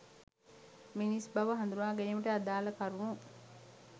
මිනිස් බව හඳුනා ගැනීමට අදාළ කරුණු